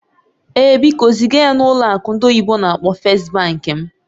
Ee, biko ziga ya na ụlọ akụ ndị oyibo n'akpọ "First Bank" m